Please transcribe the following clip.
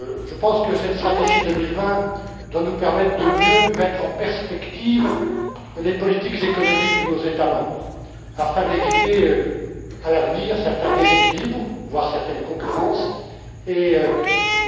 Je pense que cette stratégie 2020 doit nous permettre de mieux mettre en perspective les politiques économiques de nos États membres afin d'éviter certains déséquilibres voire certaines concurrences à l'avenir